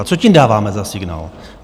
A co tím dáváme za signál?